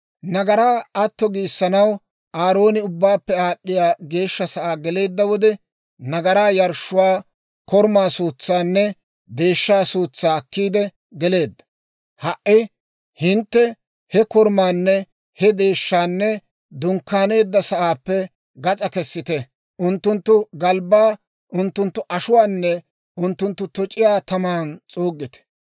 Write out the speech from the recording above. «Nagaraa atto giissanaw Aarooni Ubbaappe Aad'd'iyaa Geeshsha Sa'aa geleedda wode, nagaraa yarshshuwaa korumaa suutsaanne deeshshaa suutsaa akkiide geleedda; ha"i hintte he korumaanne he deeshshaanne dunkkaaneedda sa'aappe gas'aa kessite. Unttunttu galbbaa, unttunttu ashuwaanne unttunttu toc'iyaa taman s'uuggite.